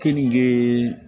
Kenige